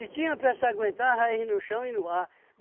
E tinha para se aguentar raiz no chão e no ar.